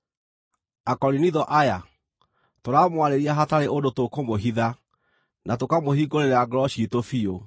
Akorinitho aya, tũramwarĩria hatarĩ ũndũ tũkũmũhitha, na tũkamũhingũrĩra ngoro ciitũ biũ.